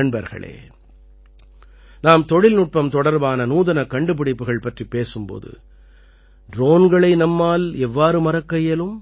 நண்பர்களே நாம் தொழில்நுட்பம் தொடர்பான நூதனக் கண்டுபிடிப்புகள் பற்றிப் பேசும் போது ட்ரோன்களை நம்மால் எவ்வாறு மறக்க இயலும்